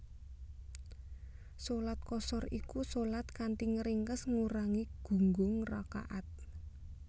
Shalat Qashar iku shalat kanthi ngringkes ngurangi gunggung rakaat